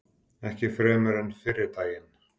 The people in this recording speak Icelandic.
Ekki fremur en fyrri daginn.